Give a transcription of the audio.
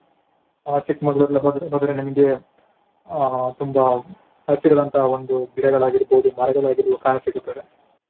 ಆ ಚಿಕ್ಮಗಳೂರ್ ಎಲ್ಲಾ ಹೋದ್ರೆ ಹೋದರೆ ನಿಮ್ಗೆ ಅಹ್ ತುಂಬಾ ಹಸಿರಾದಂತಹ ಒಂದು ಗಿಡಗಳಾಗಿರ್ಬಹುದು ಮರಗಳಾಗಿರ್ಬಹುದು ಕಾಣ ಸಿಗುತ್ತದೆ.